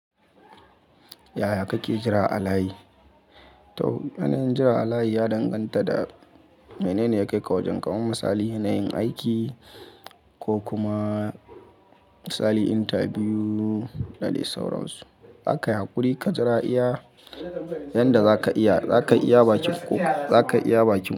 Yaya kake jira a layi? Toh, yanayin jira a layi ya danganta da menene ya kai ka wajen, kaman misali yanayin aiki ko kuma misali interview da dai sauransu. Za kayi hakuri ka jira iya, yanda zaka iya, zaka iya ba kokari, za kayi iya ba bakinkokarin ka.